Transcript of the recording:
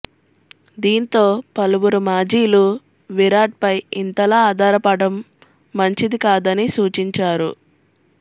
దీంతో పలువురు మాజీలు విరాట్ పై ఇంతలా ఆధాపరపటం మంచిది కాదని సూచించారు